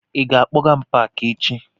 Ị ga-akpọga m n'Paakị echi?